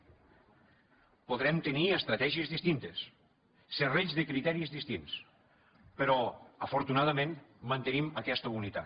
podrem tenir estratègies distintes serrells de criteris distints però afortunadament mantenim aquesta unitat